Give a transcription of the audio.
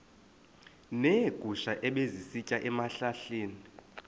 neegusha ebezisitya ezihlahleni